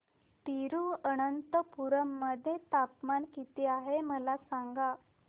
तिरूअनंतपुरम मध्ये तापमान किती आहे मला सांगा